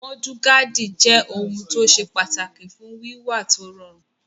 Múdúgáàdì jẹ́ ohun tó ṣe pàtàkì fún wíwà tó rọrùn